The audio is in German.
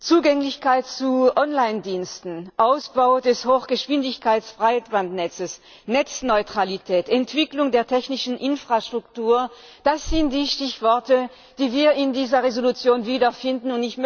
Zugänglichkeit von Online Diensten, Ausbau des Hochgeschwindigkeitsbreitbandnetzes, Netzneutralität, Entwicklung der technischen Infrastruktur, das sind die Stichworte, die wir in dieser Entschließung wiederfinden.